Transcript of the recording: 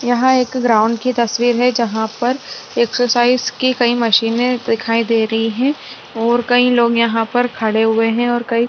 यहाँ एक ग्राउंड की तस्वीर है जहाँं पर एक्सरसाइज की कई मशीनें दिखाई दे रही है और कई लोग यहाँ पर खड़े हुए है और कई --